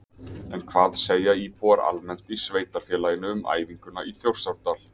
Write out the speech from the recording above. En hvað segja íbúar almennt í sveitarfélaginu um æfinguna í Þjórsárdal?